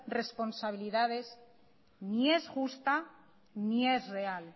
responsabilidades ni es justa ni es real